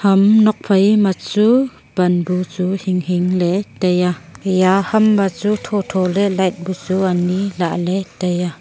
ham nokphai ma chu pan bu chu hing hing le tai a eya ham ma chu tho tho le light bu chu ani lah ley tai aa.